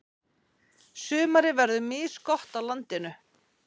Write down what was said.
Sumarið verður misgott á landinu.